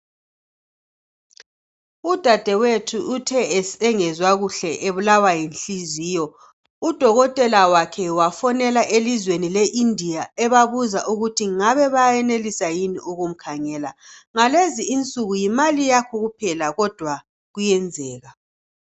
Udadewethu uthe engezwa kuhle ebulawa yinhliziyo udokotela wakhe wafonela elizweni leIndia ebabuza ukuthi ngabe bayayenelisa yini ukumkhangela. Ngalezi insuku yimali yakho kuphela kodwa kuyenzeka.